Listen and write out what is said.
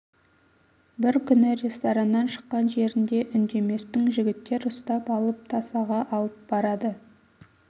бір күн рестораннан шыққан жерінде үндеместің жігіттер ұстап алып тасаға алып барады